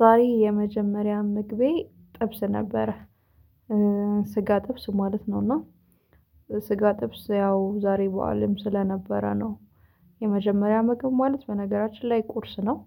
ዛሬ የመጀመሪያ ምግቤ ጥብስ ነበረ። ስጋ ጥብስ ማለት ነው እና ስጋ ጥብስ ያው ዛሬ በዓልም ስለነበረ ነው የመጀመሪያ ምግብ ማለት በነገራችን ላይ ቁርስ ነው።